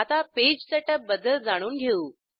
आता page setup बद्दल जाणून घेऊ